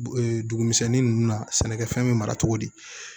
dugu misɛnnin nunnu na sɛnɛkɛfɛn be mara cogo di